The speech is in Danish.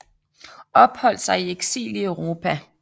Opholdt sig i eksil i Europa